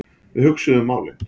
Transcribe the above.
Við hugsuðum málin.